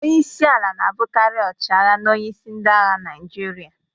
Onye isi ala na-abụkarị ọchịagha na onyeisi ndị agha Naịjirịa.